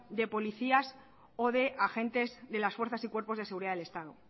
de policías o de agentes de las fuerzas y cuerpos de seguridad del estado